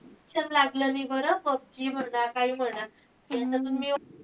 Addiction लागलं नाई बरं. पबजी म्हणा काई म्हणा. याच्यातून मी,